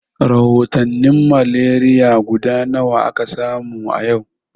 Rahotanin malaria guda nawa aka samu yau?